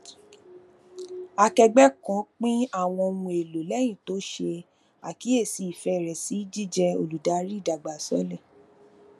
akẹgbẹ kan pin awọn ohun elo lẹyin ti o ṣe akiyesi ifẹ rẹ si jijẹ oludari idagbasole